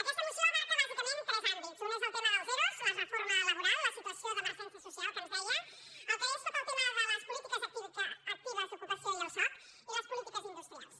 aquesta moció abraça bàsicament tres àmbits un és el tema dels ero la reforma laboral la situació d’emer·gència social que ens deia el que és tot el tema de les polítiques actives d’ocupació i el soc i les políti·ques industrials